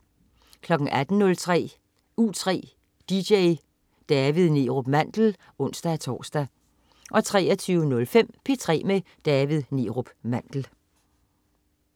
18.03 U3 dj. David Neerup Mandel (ons-tors) 23.05 P3 med David Neerup Mandel